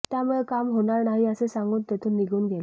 त्यामुळे काम होणार नाही असे सांगून तेथून निघून गेले